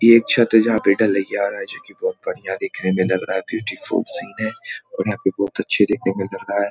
ये एक छत है जहाँ पे ढालिया हो रहा है जो की बहुत बढ़िया दिखने में लग रहा है ब्यूटीफुल सीन है और यहाँ पर बहुत अच्छे देखने में लग रहा है ।